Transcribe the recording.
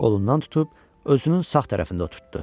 Qolundan tutub özünün sağ tərəfində oturtdu.